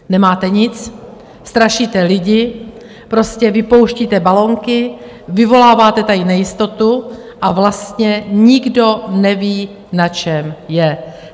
Nemáte nic, strašíte lidi, prostě vypouštíte balonky, vyvoláváte tady nejistotu a vlastně nikdo neví, na čem je.